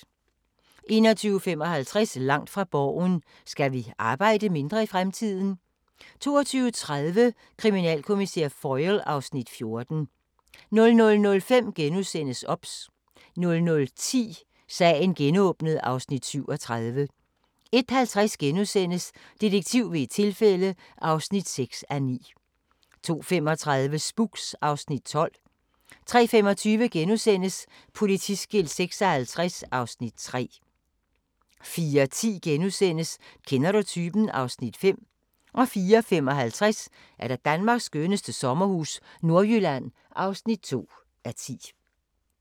21:55: Langt fra Borgen: Skal vi arbejde mindre i fremtiden? 22:30: Kriminalkommissær Foyle (Afs. 14) 00:05: OBS * 00:10: Sagen genåbnet (Afs. 37) 01:50: Detektiv ved et tilfælde (6:9)* 02:35: Spooks (Afs. 12) 03:25: Politiskilt 56 (Afs. 3)* 04:10: Kender du typen? (Afs. 5)* 04:55: Danmarks skønneste sommerhus – Nordjylland (2:10)